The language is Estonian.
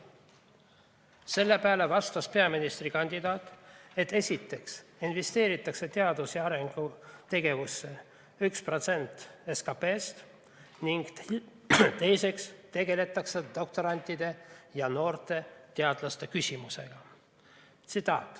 Selle peale vastas peaministrikandidaat, et esiteks investeeritakse teadus‑ ja arendustegevusse 1% SKP‑st ning teiseks tegeldakse doktorantide ja noorte teadlaste küsimusega.